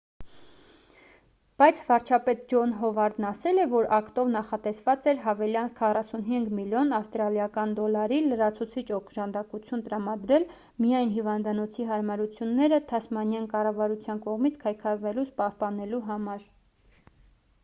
բայց վարչապետ ջոն հովարդն ասել է որ ակտով նախատեսված էր հավելյալ 45 միլիոն ավստրալիական դոլարի լրացուցիչ օժանդակություն տրամադրել միայն հիվանդանոցի հարմարությունները թասմանյան կառավարության կողմից քայքայվելուց պահպանելու համար